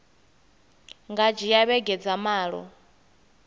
nga dzhia vhege dza malo